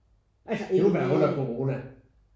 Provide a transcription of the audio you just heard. Umiddelbart under corona